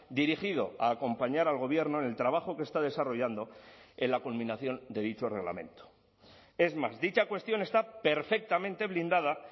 dirigido a acompañar al gobierno en el trabajo que está desarrollando en la culminación de dicho reglamento es más dicha cuestión está perfectamente blindada